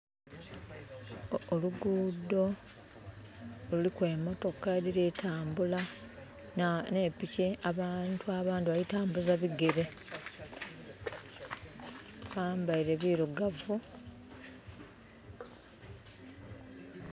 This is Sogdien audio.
Oluguudo luliku emotoka edhiri kutambula ne piki. Abantu abandhi balitambuza bigere bambaile birigavu.